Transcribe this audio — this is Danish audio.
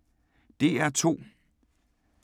DR2